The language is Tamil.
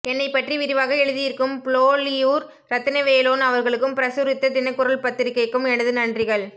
என்னைப் பற்றி விரிவாக எழுதியிருக்கும் புலோலியூர் இரத்தினவேலோன் அவர்களுக்கும் பிரசுரித்த தினக்குரல் பத்திரிகைக்கும் எனது நன்றிகள்